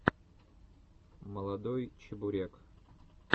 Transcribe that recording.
молодой чебурек